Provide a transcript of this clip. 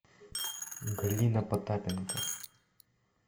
галина потапенко